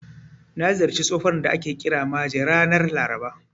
Na ziyarci tsohon da ake kira Maje ranar Laraba.